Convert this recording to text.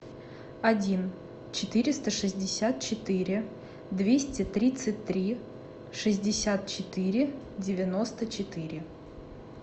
один четыреста шестьдесят четыре двести тридцать три шестьдесят четыре девяносто четыре